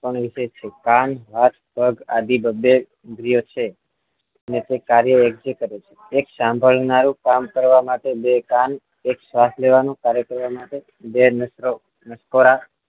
વિશિષ્ટ છે કાન હાથ પગ આદિ બબ્બે ઇન્દ્રિયો છે ને તે કાર્યો વેંચી કરે છે એક સાંભળનારુ કામ કરવા માટે બે કાન એક શ્વાસ લેવાનું કાર્ય કરવા માટે બે નસકોરા